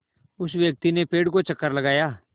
उस व्यक्ति ने पेड़ का चक्कर लगाया